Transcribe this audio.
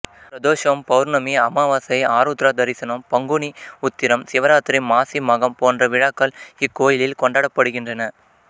பிரதோஷம் பௌர்ணமி அமாவாசை ஆருத்ரா தரிசனம் பங்குனி உத்திரம் சிவராத்திரி மாசி மகம் போன்ற விழாக்கள் இக்கோயிலில் கொண்டாடப்படுகின்றன